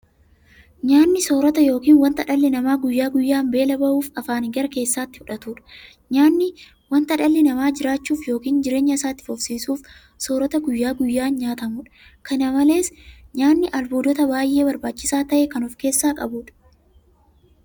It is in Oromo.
Nyaanni soorota yookiin wanta dhalli namaa guyyaa guyyaan beela ba'uuf afaaniin gara keessaatti fudhatudha. Nyaanni wanta dhalli namaa jiraachuuf yookiin jireenya isaa itti fufsiisuuf soorata guyyaa guyyaan nyaatamudha. Kana malees nyaanni albuuda baay'ee barbaachisaa ta'e kan ofkeessaa qabudha.